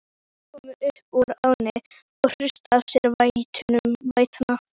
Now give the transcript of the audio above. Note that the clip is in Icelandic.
Hestarnir komu upp úr ánni og hristu af sér vætuna.